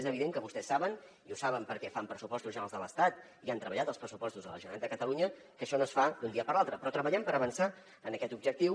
és evident que vostès saben i ho saben perquè fan pressupostos generals de l’estat i han treballat en els pressupostos de la generalitat de catalunya que això no es fa d’un dia per l’altre però treballem per avançar en aquest objectiu